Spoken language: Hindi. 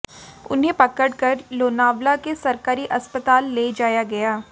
उन्हें पकड़कर लोनावला के सरकारी अस्पताल ले जाया गया